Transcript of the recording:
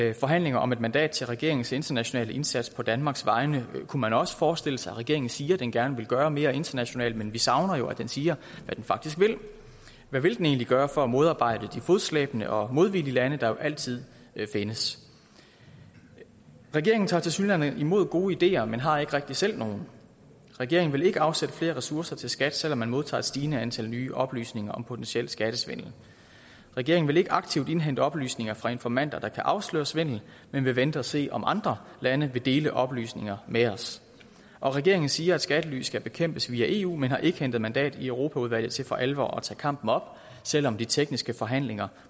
ii forhandlinger om et mandat til regeringens internationale indsats på danmarks vegne kunne man også forestille sig regeringen siger at den gerne vil gøre mere internationalt men vi savner jo at den siger hvad den faktisk hvad vil den egentlig gøre for at modarbejde de fodslæbende og modvillige lande der jo altid vil findes regeringen tager tilsyneladende imod gode ideer men har ikke rigtig selv nogen regeringen vil ikke afsætte flere ressourcer til skat selv om man modtager et stigende antal nye oplysninger om potentiel skattesvindel regeringen vil ikke aktivt indhente oplysninger fra informanter der kan afsløre svindel men vil vente og se om andre lande vil dele oplysninger med os og regeringen siger at skattely skal bekæmpes via eu men har ikke hentet mandat i europaudvalget til for alvor at tage kampen op selv om de tekniske forhandlinger